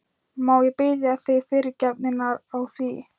Má ég biðja þig fyrirgefningar á því?